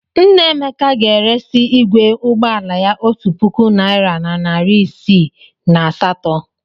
Nna Emeka ga-eresị igwe ụgbọ ala ya otu puku naịra na narị isii na asatọ.